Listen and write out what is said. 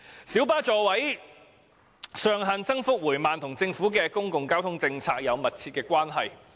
小巴座位上限增幅緩慢，與政府的公共交通政策有着密切的關係。